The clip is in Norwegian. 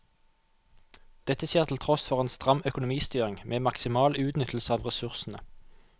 Dette skjer til tross for en stram økonomistyring med maksimal utnyttelse av ressursene.